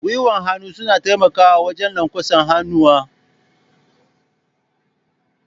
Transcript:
Gwiwan hannu suna taimakawa wajen lanƙwasa hannuwa.